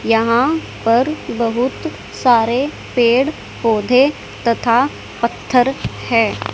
यहां पर बहुत सारे पेड़ पौधे तथा पत्थर है।